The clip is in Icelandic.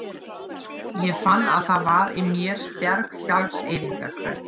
Ég fann að það var í mér sterk sjálfseyðingarhvöt.